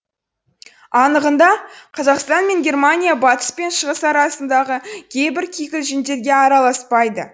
анығында қазақстан мен германия батыс пен шығыс арасындағы кейбір кикілжіңдерге араласпайды